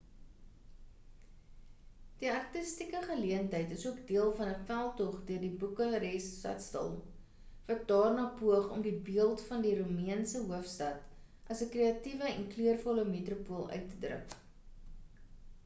die artistieke geleentheid is ook deel van 'n veldtog deur die boekarest stadsaal wat daarna poog om die beeld van die roemeense hoofstad as 'n kreatiewe en kleurvolle metropool uit te druk